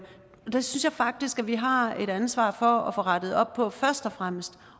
det synes jeg faktisk at vi har et ansvar for at få rettet op på først og fremmest